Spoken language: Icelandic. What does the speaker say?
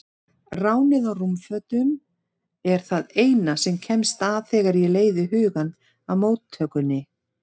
Ránið á rúmfötunum er það eina sem kemst að þegar ég leiði hugann að móttökunni.